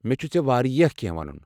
مےٚ چھُ ژےٚ واریاہ کینٛہہ ونُن۔